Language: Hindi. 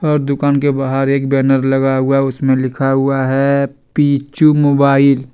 और दुकान के बहार एक बैनर लगा हुआ है। उसमें लिखा हुआ है पिचू मोबाइल --